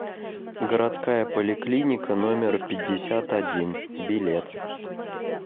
городская поликлиника номер пятьдесят один билет